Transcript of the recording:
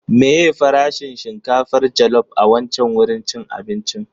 Meye farashin shinkafar jallop a wancan wurin cin abinci din?